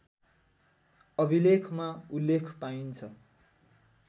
अभिलेखमा उल्लेख पाइन्छ